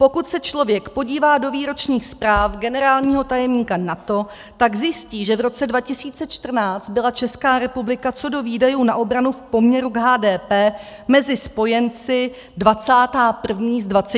Pokud se člověk podívá do výročních zpráv generálního tajemníka NATO, tak zjistí, že v roce 2014 byla Česká republika co do výdajů na obranu v poměru k HDP mezi spojenci 21. z 27, tedy sedmá od konce.